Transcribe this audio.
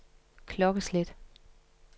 klokkeslæt